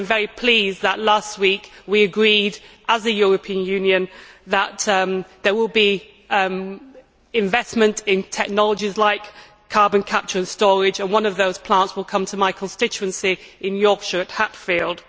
I am very pleased that last week we agreed as a European Union that there will be investment in technologies like carbon capture and storage, and that one of those plants will come to my constituency in Yorkshire, at Hatfield.